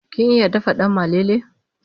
kin iya dafa dan malele?